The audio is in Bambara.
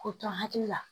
K'o to n hakili la